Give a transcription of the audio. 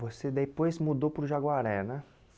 Você depois mudou para o Jaguaré, né?